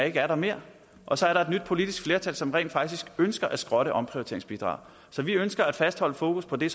ikke er der mere og så er der et nyt politisk flertal som rent faktisk ønsker at skrotte omprioriteringsbidraget så vi ønsker at fastholde fokus på det